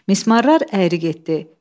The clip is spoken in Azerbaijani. Mismarlar əyri getdi.